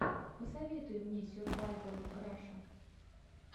посоветуй мне сервайвал раша